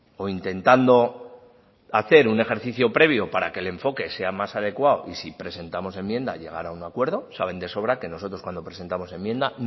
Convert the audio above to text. o intentando hacer un ejercicio previo para que el enfoque sea más adecuado y si presentamos enmienda llegar a un acuerdo saben de sobra que nosotros cuando presentamos enmienda